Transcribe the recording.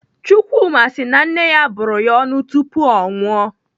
Chukwuma si na nne ya bụrụ ya ọnụ tupu o nwụọ.